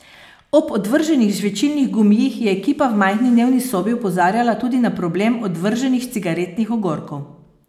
Ob odvrženih žvečilnih gumijih je ekipa v majhni dnevni sobi opozarjala tudi na problem odvrženih cigaretnih ogorkov.